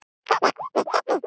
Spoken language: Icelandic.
Hvað getur hann gert?